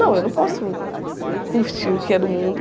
Não, eu não posso curtir o que é do mundo.